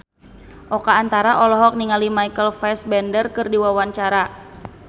Oka Antara olohok ningali Michael Fassbender keur diwawancara